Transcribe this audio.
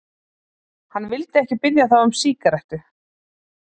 Hann vildi ekki biðja þá um sígarettu.